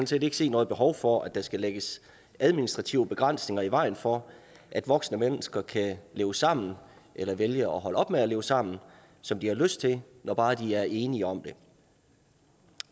set ikke se noget behov for at der skal lægges administrative begrænsninger i vejen for at voksne mennesker kan leve sammen eller vælge at holde op med at leve sammen som de har lyst til når bare de er enige om det